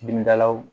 Dimidalaw